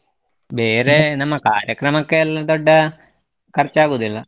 ಬೇರೆ ನಮ್ಮ ಕಾರ್ಯಕ್ರಮಕ್ಕೆ ಎಲ್ಲ ದೊಡ್ಡ ಖರ್ಚಾಗುದಿಲ್ಲ.